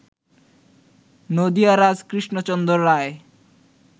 নদিয়ারাজ Krishnachandra Roy